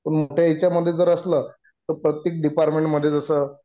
तर मग त्याच्यामध्ये जर असले तर प्रत्येक डिपार्टमेंट मध्ये जसं